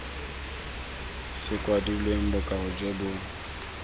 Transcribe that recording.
se kwadilweng bokao jo bo